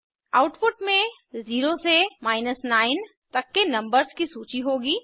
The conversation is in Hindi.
आउटपुट में 0 से 9 तक के नंबर्स की सूची होगी